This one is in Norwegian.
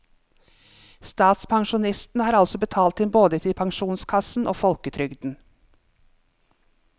Statspensjonistene har altså betalt inn både til pensjonskassen og folketrygden.